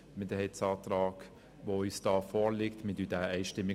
Wir unterstützen ihn einstimmig.